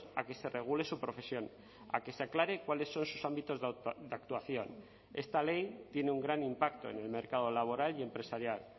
a que se regule su profesión a que se aclare cuáles son sus ámbitos de actuación esta ley tiene un gran impacto en el mercado laboral y empresarial